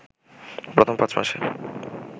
প্রথম পাঁচ মাসে